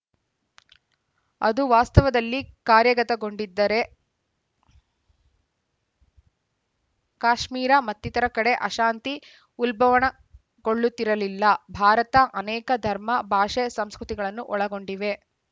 ಅದು ವಾಸ್ತವದಲ್ಲಿ ಕಾರ್ಯಗತಗೊಂಡಿದ್ದರೇ ಕಾಶ್ಮೀರ ಮತ್ತಿತರ ಕಡೆ ಅಶಾಂತಿ ಉಲ್ಬಣಗೊಳ್ಳುತ್ತಿರಲಿಲ್ಲ ಭಾರತ ಆನೇಕ ಧರ್ಮ ಭಾಷೆ ಸಂಸ್ಕೃತಿಗಳನ್ನು ಒಳಗೊಂಡಿವೆ